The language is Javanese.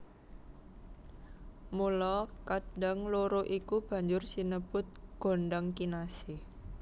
Mula kadang loro iku banjur sinebut gondhang kinasih